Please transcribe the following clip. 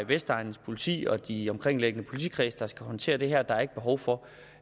vestegns politi og de omkringliggende politikredse der skal håndtere det her og at der er ikke behov for